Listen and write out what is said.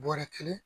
Bɔrɛ kelen